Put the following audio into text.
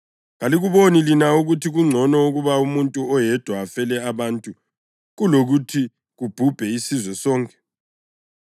Kalikuboni lina ukuthi kungcono ukuba umuntu oyedwa afele abantu kulokuthi kubhubhe isizwe sonke.”